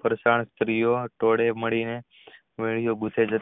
ઘરે સ્ત્રી વો ટોળે મળીને વહેલું ગુંથી ને